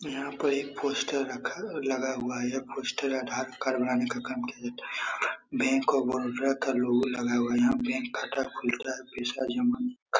यहाँ पे एक पोस्टर रखा और लगा हुआ है यह पोस्टर आधार कार्ड बनाने का काम किया जाता है यहाँ पे बैंक ऑफ़ बड़ौदा का लोगो लगा हुआ है यहाँ बैंक खाता खुलता है और पैसा जमा --